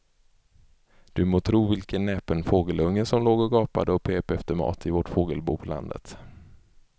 Du må tro vilken näpen fågelunge som låg och gapade och pep efter mat i vårt fågelbo på landet.